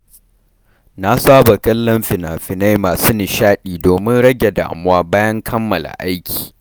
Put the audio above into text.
Na saba kallon fina-finai masu nishaɗi domin rage damuwa bayan kammala aiki.